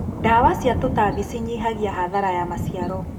Ndawa cia tũtambi cinyihagia hathara wa maciaro.